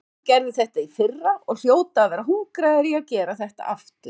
Valur gerði þetta í fyrra og hljóta að vera hungraðir í að gera þetta aftur.